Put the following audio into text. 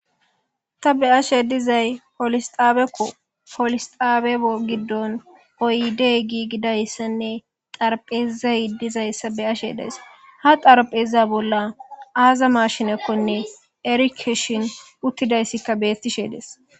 Ta be'ashe dizay polis xaabako polis xaaba giddon oyde giigidaysanne xaraphezay dizayssa be'ashe days; ha xarapheza bolla aaza maashinekonne erikeshin uttidaysika beetishe dees.